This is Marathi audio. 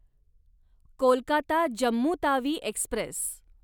कोलकाता जम्मू तावी एक्स्प्रेस